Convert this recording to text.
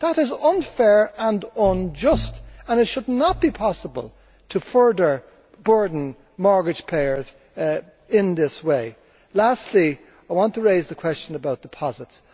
That is unfair and unjust and it should not be possible to further burden mortgage payers in this way. Lastly, I want to raise the question about deposits.